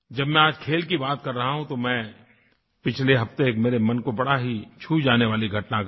जब मैं आज खेल की बात कर रहा हूँ तो मैं पिछले हफ्ते एक मेरे मन को बड़ी ही छू जाने वाली घटना घटी